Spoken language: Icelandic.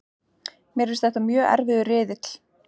Mér finnst þetta mjög erfiður riðill.